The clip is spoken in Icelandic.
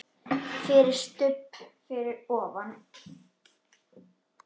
FYRIR STUBB fyrir ofan.